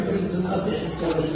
Yox, nə qalsın, yox.